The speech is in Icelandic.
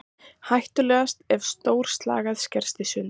Hættulegast er ef stór slagæð skerst í sundur.